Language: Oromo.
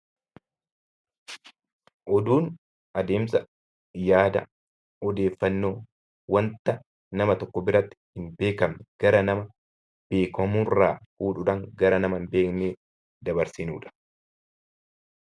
Oduun adeemsa yaada odeeffannoo wanta nama tokko biratti hin beekamne gara nama beekamurraa oduudhaan gara nama hin beekneetti dabarsinudha.